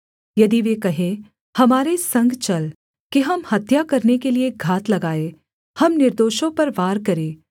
यदि वे कहें हमारे संग चल कि हम हत्या करने के लिये घात लगाएँ हम निर्दोषों पर वार करें